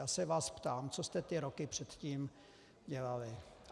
Já se vás ptám, co jste ty roky předtím dělali.